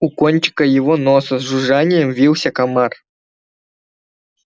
у кончика его носа с жужжанием вился комар